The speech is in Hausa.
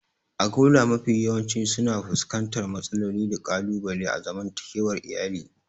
Agola mafi yawanci suna fuskantar matsaloli da ƙalubale a zaman takewar iyali.